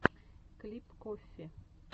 клип коффи